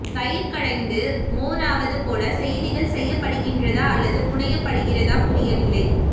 தயிர் கடைந்து மோர் ஆவது போல செய்திகள் செய்ய்ப்படுகிற்தா அல்லது புனயப்படுகிறதா புரிய்வில்ல